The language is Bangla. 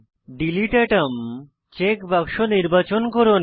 ডিলিট আতম চেক বাক্স নির্বাচন করুন